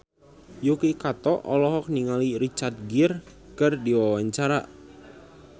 Yuki Kato olohok ningali Richard Gere keur diwawancara